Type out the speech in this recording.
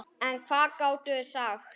En hvað gátum við sagt?